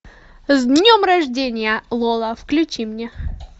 с днем рождения лола включи мне